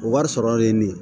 O wari sɔrɔlen ne